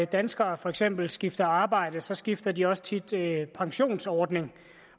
danskere for eksempel skifter arbejde så skifter de også tit pensionsordning